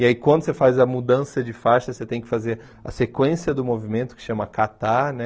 E aí, quando você faz a mudança de faixa, você tem que fazer a sequência do movimento, que chama Katar, né?